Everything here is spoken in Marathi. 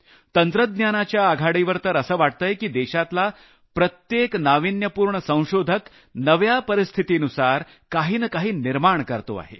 तंत्रज्ञानाच्या आघाडीवर तर असं वाटतंय की देशातला प्रत्येक नाविन्यपूर्ण संशोधक नव्या परिस्थितीनुसार काही न काही निर्माण करत आहे